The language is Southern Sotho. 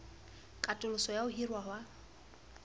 katoloso ya ho hirwa ha